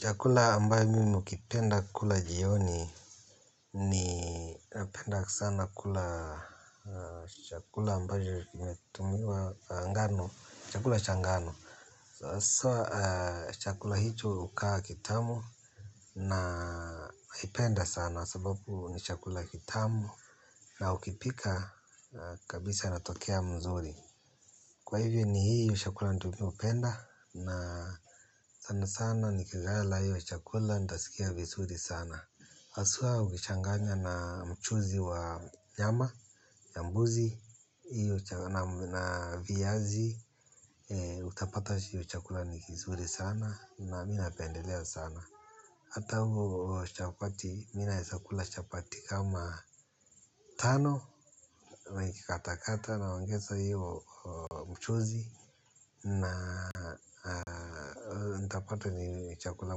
Chakula ambayo mimi hukipenda kula jioni napenda sana kula. Chakula ambayo imetumiwa ngano chakula cha ngano. Sasa chakula hicho hukaa kitamu nakipenda sana sababu ni chakula kitamu. Na ukipika kabisa natokea mzuri. Kwa hivyo ni hiyo chakula ndo mimi hupenda na sana sana nikilala hiyo chakula nitasikia vizuri sana haswa ukichanganya na mchuzi wa nyama, ya mbuzi, na viazi, utapata hiyo chakula ni kizuri sana na mimi napendelea sana. Hata huo chapati mimi naeza kula chapati kama tano, nikikatakata naongeza hiyo mchuzi na nikapata ni chakula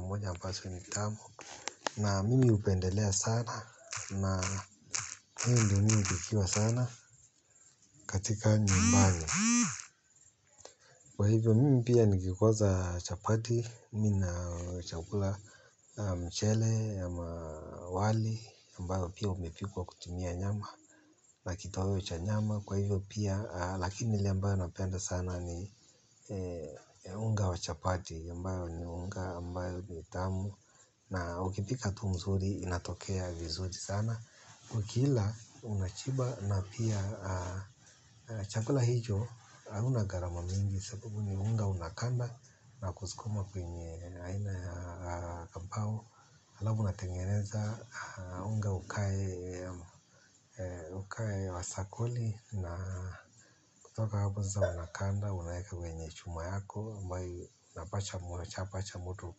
moja ambacho mimi hupendelea sana na hiyo ndo mimi hupikiwa sana katika nyumbani kwa hivyo mimi pia nikikosa chapati. Mimi na chakula mchele ama wali ambayo pia umepikwa kutumia nyama. Na kitoweo cha nyama. Kwa hivyo pia, lakini ile ambayo napenda sana ni unga wa chapati. Ambayo ni unga, ambayo ni tamu. Na ukipika tu mzuri, inatokea vizuri sana. Ukila unashiba na pia chakula hicho hauna gharama mingi sababu ni unga unakanda na kusukuma kwenye aina ya kampao. Alafu unatengeneza unga ukae wa sakoli. Na kutoka hapo sasa unakanda unaymeka kwenye chuma yako ambaye unapasha moto unapasha moto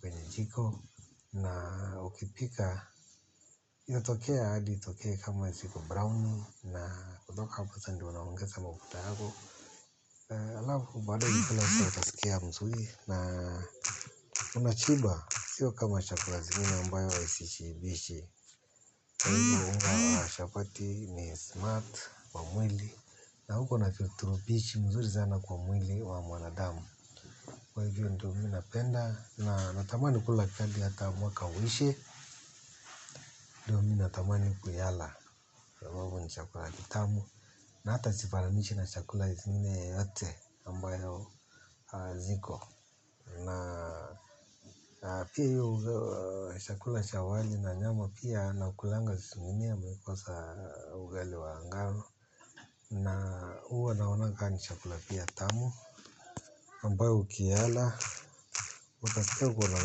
kwenye jiko. Na ukipika. Inatokea hadi itoke kama ziko brown. Na kutoka hapo sasa ndio unaongeza mafuta yako. Alafu baadaye unakula utaskia mzuri. Na unashiba. Sio kama chakula zingine ambayo sishibishi. Kwa hivyo unga wa chapati ni smart kwa mwili. Na huko na virutubishi mzuri sana kwa mwili wa mwanadamu. Kwa hivyo ndo mimi napenda. Na natamani kula hadi hata mwaka uishe. Mimi natamani kuyala kwa sabaabu ni chakula kitamu. Na hata sifanananishi na chakula zingine yoyote ambayo ziko. Na pia hiyo chakula chakula cha wali na nyama pia na hukulanga sushimine nikikosa ugali wa ngano. Na huwa naonanga kama ni chakula pia tamu ambayo ukiyala. Utasikia uko na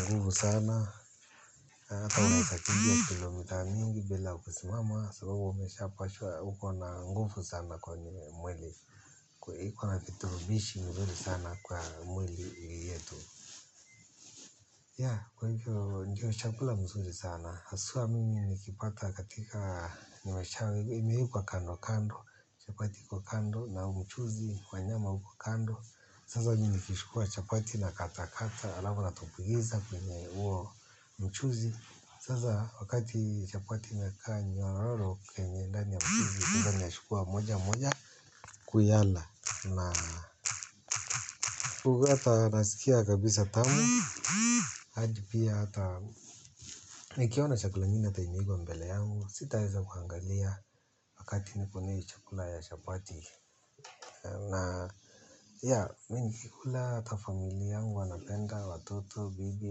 nguvu sana. Hata unaeza kimbia kilomita mingi bila kusimama sababu umeshapashwa uko na nguvu sana kwa mwili kwa iko na virutubishi mzuri sana kwa mwili yetu kwa hivyo ndio chakula mzuri sana haswa mimi nikipata katika imewekwa kando kando chapati kwa kando na mchuzi kwa nyama huku kando sasa mimi nikichukua chapati nakatakata alafu natumbukiza kwenye juo mchuzi sasa wakati chapati imekaa nyororo kwenye ndani ya mchuzi kwanza ninachukua moja moja kuyala na kukuta nasikia kabisa tamu hadi pia hata nikiona chakula nyingine penye iko mbele yangu sitaweza kuangalia wakati nipo na hio chakula ya chabati na ya mimi nikikula hata familia yangu wanapenda watoto bibi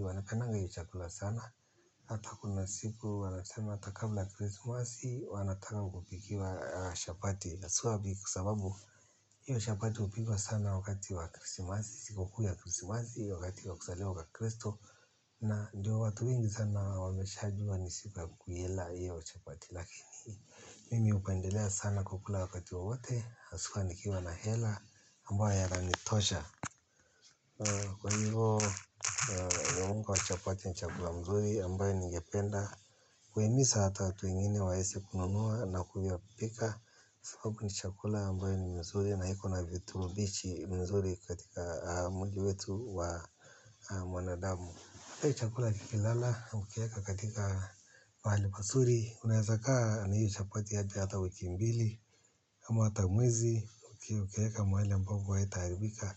wanapendanga hiyo chakula sana hata kuna siku wanasema hata kabla krisimasi wanataka kupikiwa chabati haswa ni kwa sababu hiyo chapati hupikwa sana wakati wa krisimasi, siku kuu ya krisimasi, wakati wa kuzaliwa kwa kristo. Na ndio watu wengi sana wameshajua ni siku kuila hiyo chapati lakini mimi hupendelea sana kukula wakati wowote, haswa nikiwa na hela, ambayo yananitosha. Kwa hivyo, unga wa chapati ni chakula mzuri ambayo ningependa. Kuhimiza hata watu wengine waweze kununua na kuyapika sababu ni chakula ambayo ni mzuri na iko na virutubushi mzuri katika mwili wetu wa mwanadamu. Hiyo chakula kikilala ukiweka katika mahali pazuri. Unaeza kaa na hiyo chapati hadi hata wiki mbili ama hata mwezi ukiweka mahali ambapo haitaharibika.